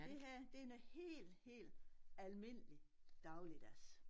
Det her det noget hel hel almindelig dagligdags